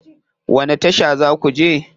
Wani tasha za ku je?